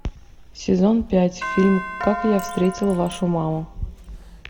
сезон пять фильм как я встретил вашу маму